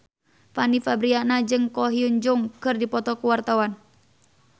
Fanny Fabriana jeung Ko Hyun Jung keur dipoto ku wartawan